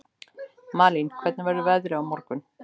Malín, hvernig er veðrið á morgun?